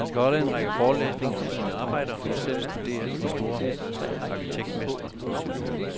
Han skal holde en række forelæsninger om sine arbejder og selv studere de store arkitektmestre.